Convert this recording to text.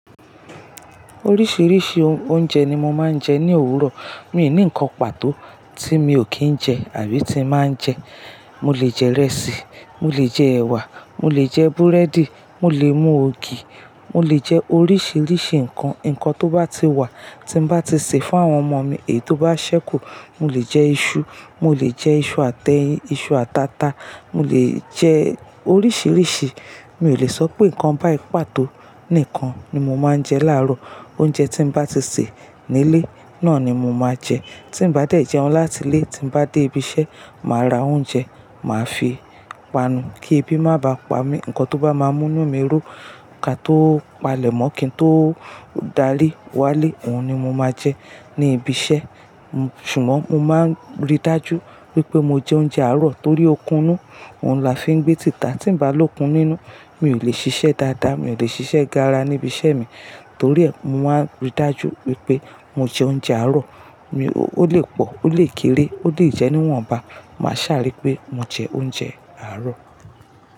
Oríṣìíríṣìí oúnjẹ ni mo máa ń jẹ ní òwúrọ̀. Mi ò ní ǹkan pàtó tí mi ò kí ń jẹ àbí tí ì má ń jẹ. Mo lè jẹ ìrẹsì, mo lè jẹ ẹ̀wà, mo lè jẹ búrẹ́dì, mo lè mú ògì, mo lè jẹ oríṣìíríṣìí ǹkan. Ǹkan tó bá ti wà, tí mo bá ti sè fún àwọn ọmọ mi ètò bá ṣẹ́kù, mo lè jẹ iṣu, mo lè jẹ iṣu àtẹ́yin, iṣu àtàtà. Mo lè jẹ oríṣìíríṣìí. Mi ò lè sọ pé ǹkan báì pàtó nìkan ni mo máa ń jẹ láàárọ̀. Oúnjẹ tí mo bá ti sè nílé náà ni mo máa jẹ. Tí mo bá dé ìjẹun láti ilé, tí mo bá dé ibi iṣẹ́, màá ra oúnjẹ, màá fi panu kí ebi má bá pa mí. Ǹkan tó bá máa mú inú mi rú, kà tó palẹ̀ mọ́, kí n tó dárí wá lé, òhun ni mo máa jẹ ní ibi iṣẹ́. Ṣùgbọ́n mo máa rí dájú wípé mo jẹ oúnjẹ àárọ̀ torí ó kúnú, òhun la fi ń gbé tìtà. Tí mo bá lókun nínú, mi ò lè ṣiṣẹ́ dáadáa, mi ò lè ṣiṣẹ́ gára ní ibi iṣẹ́ mi. Torí ẹ, mo máa rí dájú wípé mo jẹ oúnjẹ àárọ̀. Ó lè pọ̀, ó lè kéré, ó lè jẹ́ níwọ̀nba, màá sàárè pé mo jẹ oúnjẹ àárọ̀